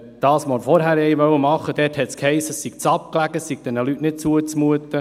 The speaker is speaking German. Bei dem, was wir vorher machen wollten, hiess es, es sei zu abgelegen, es sei diesen Leuten nicht zuzumuten.